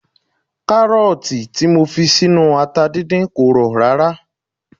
Kárọ̀tì tí mo fi sínú ata dídín kò rọ̀ rárá